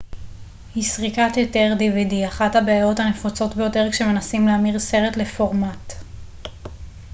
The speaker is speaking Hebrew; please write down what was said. אחת הבעיות הנפוצות ביותר כשמנסים להמיר סרט לפורמט dvd היא סריקת היתר